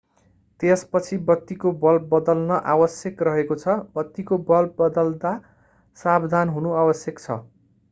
त्यसपछि बत्तीको बल्ब बदल्न आवश्यक रहेको छ बत्तीको बल्ब बदल्दा सावधान हुनु आवश्यक छ